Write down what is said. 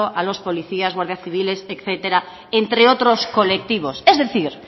a los policías guardias civiles etcétera entre otros colectivos es decir